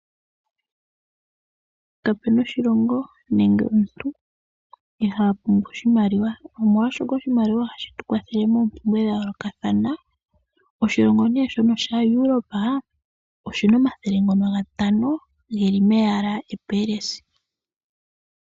Kapena oshilongo nenge omuntu iha pumbwa oshimaliwa. Omolwashoka oshimaiwa ohashi tu kwathele moompumbwe dha yoolokathana. Oshilongo nee shono sha Europa oshina omathele ngono gatano geli meyala epelesi.